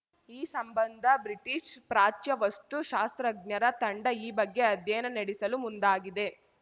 ಈ ಸಂಬಂಧ ಬ್ರಿಟೀಷ್ ಪ್ರಾಚ್ಯ ವಸ್ತು ಶಾಸ್ತ್ರಜ್ಞರ ತಂಡ ಈ ಬಗ್ಗೆ ಅಧ್ಯಯನ ನಡೆಸಲು ಮುಂದಾಗಿದೆ